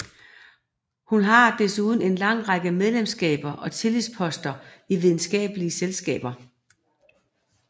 Hun har desuden en lang række medlemskaber og tillidsposter i videnskabelige selskaber